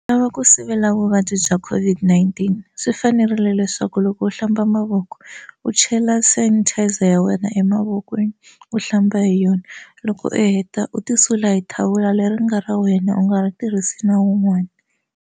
U lava ku sivela vuvabyi bya COVID-19 swi fanerile leswaku loko u hlamba mavoko u chela sanitizer ya wena emavokweni u hlamba hi yona loko u heta u ti sula hi thawula leri nga ra wena u nga ri tirhisi na wun'wani.